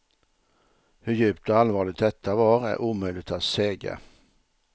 Hur djupt och allvarligt detta var är omöjligt att säga.